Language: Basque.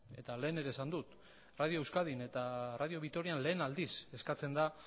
eta lehen ere esan dut radio euskadin eta radio vitorian lehen aldiz eskatzen da